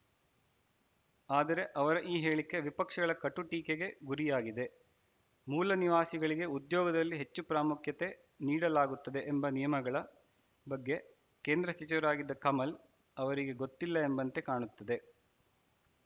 ಆದರೆ ಅವರ ಈ ಹೇಳಿಕೆ ವಿಪಕ್ಷಗಳ ಕಟುಟೀಕೆಗೆ ಗುರಿಯಾಗಿದೆ ಮೂಲ ನಿವಾಸಿಗಳಿಗೆ ಉದ್ಯೋಗದಲ್ಲಿ ಹೆಚ್ಚು ಪ್ರಾಮುಖ್ಯತೆ ನೀಡಲಾಗುತ್ತದೆ ಎಂಬ ನಿಯಮಗಳ ಬಗ್ಗೆ ಕೇಂದ್ರ ಸಚಿವರಾಗಿದ್ದ ಕಮಲ್‌ ಅವರಿಗೆ ಗೊತ್ತಿಲ್ಲ ಎಂಬಂತೆ ಕಾಣುತ್ತದೆ